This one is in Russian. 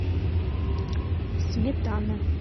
сметана